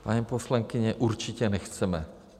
Paní poslankyně, určitě nechceme.